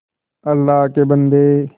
अल्लाह के बन्दे